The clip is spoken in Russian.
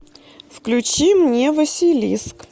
включи мне василиск